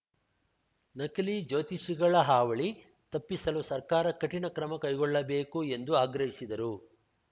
ನಕಲಿ ಜ್ಯೋತಿಷಿಗಳ ಹಾವಳಿ ತಪ್ಪಿಸಲು ಸರ್ಕಾರ ಕಠಿಣ ಕ್ರಮ ಕೈಗೊಳ್ಳಬೇಕು ಎಂದು ಆಗ್ರಹಿಸಿದರು